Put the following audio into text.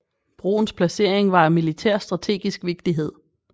Broens placering var af militær strategisk vigtighed